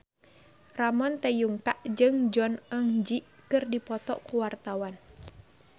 Ramon T. Yungka jeung Jong Eun Ji keur dipoto ku wartawan